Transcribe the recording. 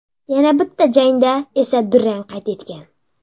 Yana bitta jangda esa durang qayd etgan.